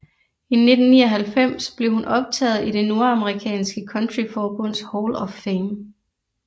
I 1999 blev hun optaget i det nordamerikanske countryforbunds Hall of Fame